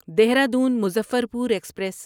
Dehradun Muzaffarpur express